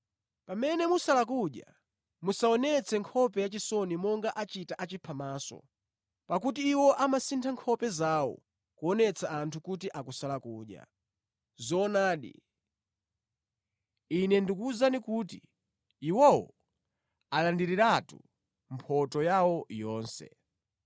“Pamene mukusala kudya, musaonetse nkhope yachisoni monga achita achiphamaso, pakuti iwo amasintha nkhope zawo kuonetsa anthu kuti akusala kudya. Zoonadi, Ine ndikuwuzani kuti iwo alandiriratu mphotho yawo yonse.